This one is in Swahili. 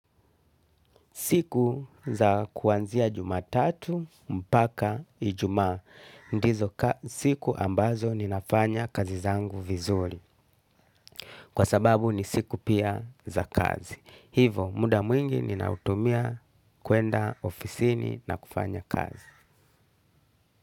Siku za kuanzia jumatatu mpaka ijumaa. Ndizo siku ambazo ninafanya kazi zangu vizuri. Kwa sababu ni siku pia za kazi. Hivo muda mwingi ninautumia kuenda ofisini na kufanya kazi.